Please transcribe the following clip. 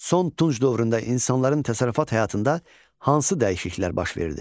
Son tunç dövründə insanların təsərrüfat həyatında hansı dəyişikliklər baş verdi?